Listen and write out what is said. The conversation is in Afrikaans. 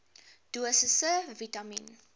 dosisse vitamien